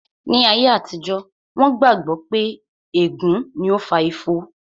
Ní ayé àtijó, wón gbà gbọ́ pé ègún ni ó fa ifo